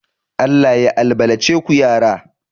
Allah ya albalace ku yara